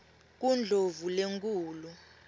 kundlovulenkulu